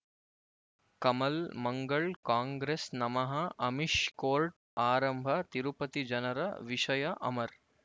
ಕಮಲ್ ಮಂಗಳ್ ಕಾಂಗ್ರೆಸ್ ನಮಃ ಅಮಿಷ್ ಕೋರ್ಟ್ ಆರಂಭ ತಿರುಪತಿ ಜನರ ವಿಷಯ ಅಮರ್